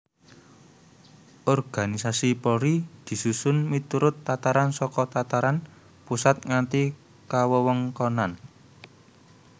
Organisasi Polri disusun miturut tataran saka tataran pusat nganti kawewengkonan